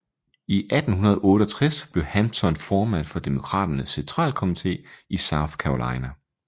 I 1868 blev Hampton formand for Demokraternes centralkomite i South Carolina